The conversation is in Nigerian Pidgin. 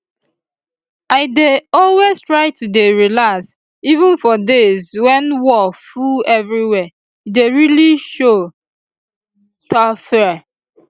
i dey always try to dey relax even for days when wor full everywhere e dey really show teh diffre